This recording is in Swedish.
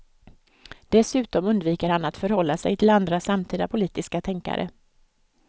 Dessutom undviker han att förhålla sig till andra samtida politiska tänkare.